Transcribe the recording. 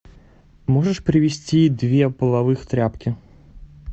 можешь привезти две половых тряпки